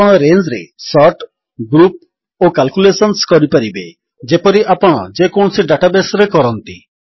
ଆପଣ ରେଞ୍ଜରେ sort group ଓ କାଲକୁଲେଶନ୍ସ କରିପାରିବେ ଯେପରି ଆପଣ ଯେକୌଣସି ଡାଟାବେସ୍ ରେ କରନ୍ତି